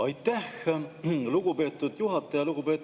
Aitäh, lugupeetud juhataja!